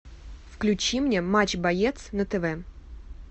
включи мне матч боец на тв